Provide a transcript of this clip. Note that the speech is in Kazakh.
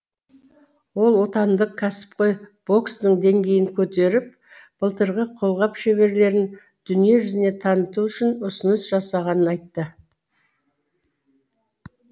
ол отандық кәсіпқой бокстың деңгейін көтеріп былғары қолғап шеберлерін дүниежүзіне таныту үшін ұсыныс жасағанын айтты